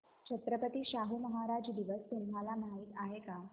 छत्रपती शाहू महाराज दिवस तुम्हाला माहित आहे